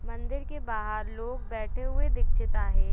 मंदिर के बाहर लोग बैठे हुए दिक्षित आहे.